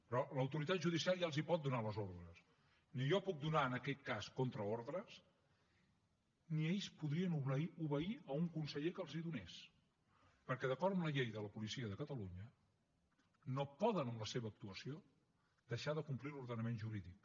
però l’autoritat judicial ja els pot donar les ordres ni jo puc donar en aquest cas contraordres ni ells podrien obeir un conseller que els en donés perquè d’acord amb la llei de la policia de catalunya no poden en la seva actuació deixar de complir l’ordenament jurídic